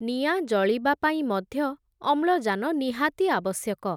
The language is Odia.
ନିଆଁ ଜଳିବା ପାଇଁ ମଧ୍ୟ, ଅମ୍ଳଜାନ ନିହାତି ଆବଶ୍ୟକ ।